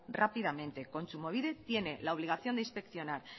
rápidamente kontsumobide tiene la obligación de inspeccionar